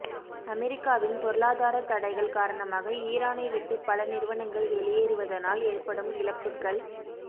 அமெரிக்காவின் பொருளாதாரத் தடைகள் காரணமாக ஈரானை விட்டு பல நிறுவனங்கள் வெளியேறுவதனால் ஏற்படும் இழப்புக